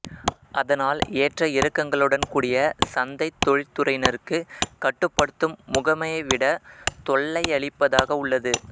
அதனால் ஏற்ற் இறக்கங்கலௌடன் கூடிய சந்தை தொழிற்துறையினர்க்கு கட்டுப்படுத்தும் முகமையைவிட தொல்லையளிப்பதாக உள்ளது